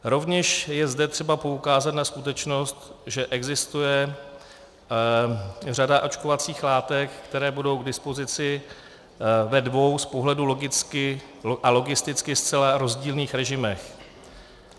Rovněž je zde třeba poukázat na skutečnost, že existuje řada očkovacích látek, které budou k dispozici ve dvou z pohledu logicky a logisticky zcela rozdílných režimech.